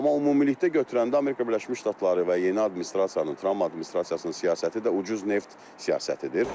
Amma ümumilikdə götürəndə Amerika Birləşmiş Ştatları və yeni administrasiyanın, Tramp administrasiyasının siyasəti də ucuz neft siyasətidir.